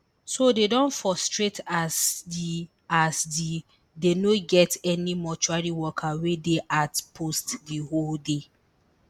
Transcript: so dey don frustrate as di as di dey no get any mortuary worker wey dey at post di whole day